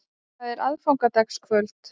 Það er aðfangadagskvöld.